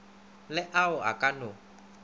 le ao a ka no